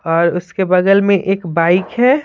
और उसके बगल में एक बाइक है।